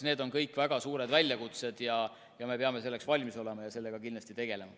Need on kõik väga suured väljakutsed, me peame nendeks valmis olema ja nendega kindlasti tegelema.